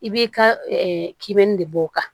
I b'i ka kilɛnni de b'o kan